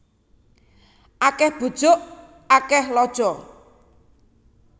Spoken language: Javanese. Akeh bujuk akeh lojo